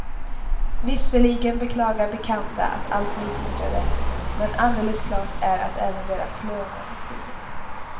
Visserligen beklagar bekanta att allt blir dyrare, men alldeles klart är att även deras löner har stigit.